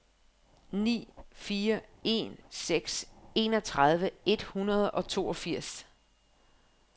ni fire en seks enogtredive et hundrede og toogfirs